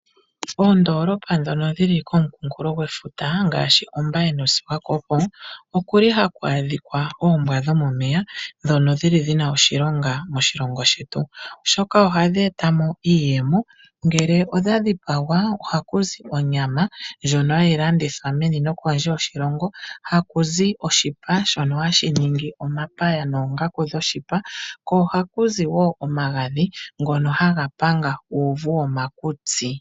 Oondolopa ndhono dhili komukunkulo gwefuta ngaashi Ombaye noSwakopo okuli haku adhika oombwa dhomomeya ndhono dhili dhi na oshilonga moshilongo shetu, oshoka hadhi eta mo iiyemo. Ngele odha dhipagwa ohaku zi onyama ndjono hayi landithwa meni nokondje yoshilongo. Ohaku zi oshipa shono hashi ningi omapaya noongaku dhoshipa ko ohakuzi omagadhi ngono haga panga uuvu womakutsi.